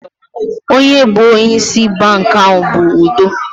Onye bụ onye ịsị bankị ahụ bụ Udo